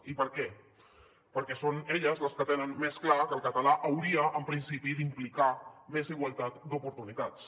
i per què perquè són elles les que tenen més clar que el català hauria en principi d’implicar més igualtat d’oportunitats